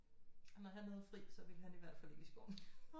Og når han havde fri så ville han i hvert fald ikke i skoven